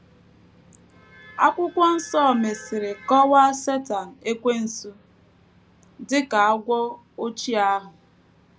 Akwụkwọ Nsọ mesịrị kọwaa Setan Ekwensu dị ka “ agwọ ochie ahụ. ”